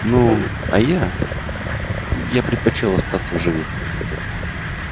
ну а я я предпочёл остаться в живых